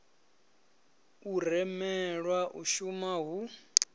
u rumelwa u shuma hu